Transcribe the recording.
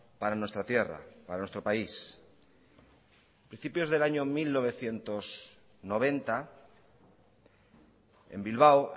para nuestra tierra para nuestro país a principios del año mil novecientos noventa en bilbao